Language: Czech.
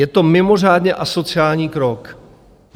Je to mimořádně asociální krok.